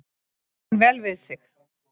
Kann vel við sig